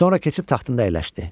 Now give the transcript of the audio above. Sonra keçib taxtında əyləşdi.